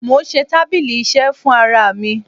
Mò ń ṣe tábílì iṣẹ́ fún ara mi.